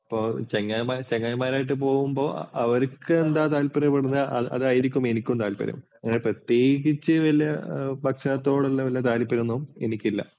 ഇപ്പോൾ ചങ്ങായിമാരുമായിട്ടു പോകുമ്പോൾ അവർക്കു എന്താ താൽപര്യപ്പെടുന്നത് അതായിരിക്കും എനിക്കും താല്പര്യം. അങ്ങനെ പ്രത്യേകിച്ച് ഭക്ഷണത്തോടുള്ള താല്പര്യമൊന്നും എനിക്കില്ല.